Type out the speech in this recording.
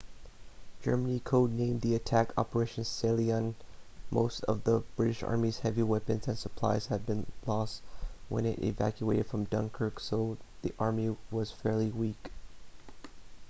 germany code-named the attack operation sealion most of the british army's heavy weapons and supplies had been lost when it evacuated from dunkirk so the army was fairly weak